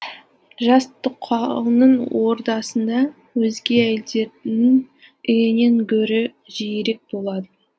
жас тоқалының ордасында өзге әйелдердің үйінен гөрі жиірек болатын